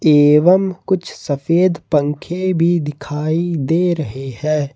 एवं कुछ सफेद पंखे भी दिखाई दे रहे हैं।